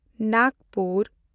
Nagpur